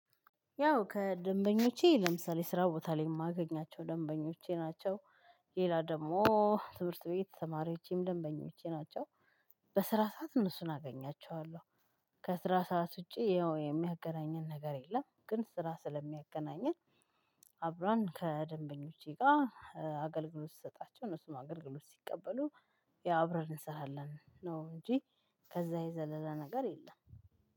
ያው ከደንበኞቼ ለምሳሌ ስራ ቦታ ላይ የማገኛቸው ደንበኞቼ ናቸው ሌላ ደግሞ ትምህርት ቤት ተማሪዎቼም ደንበኞቼ ናቸው። በስራ ሰዓት እነሱን አገኛቸዋለሁ። ከስራ ሰዓት ውጪ የሚያገናኘን ነገር የለም ግን ስራ ስለሚያገናኘን አብረን ከደንበኞቼ ጋር አገልግሎት ስሰጣቸው እነሱም አገልግሎት ሲቀበሉ ያ አብረን እንሰራለን ነው እንጂ ከዛ የዘለለ ነገር የለም